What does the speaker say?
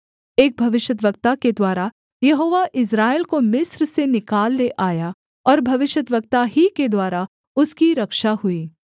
एक भविष्यद्वक्ता के द्वारा यहोवा इस्राएल को मिस्र से निकाल ले आया और भविष्यद्वक्ता ही के द्वारा उसकी रक्षा हुई